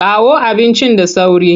Kawo abincin da sauri!